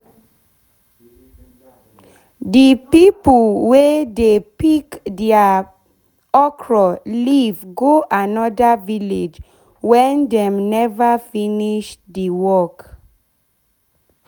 de pipo wey dey pick deir dey pick deir okro leave go anoda village wen dem neva finish de work